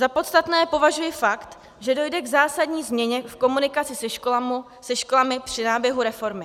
Za podstatný považuji fakt, že dojde k zásadní změně v komunikaci se školami při náběhu reformy.